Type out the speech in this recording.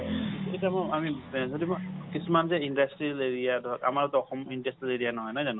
এতিয়া মই আমি কিছুমান যে industrial area যে আমাৰ অসমটো industrial area নহয়, নহয় জানো